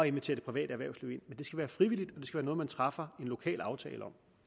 invitere det private erhvervsliv ind det skal være frivilligt være noget man træffer en lokal aftale